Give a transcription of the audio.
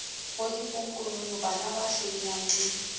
le bodiponkonono banaba hlodiyang le